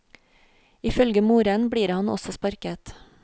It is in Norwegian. Ifølge moren blir han også sparket.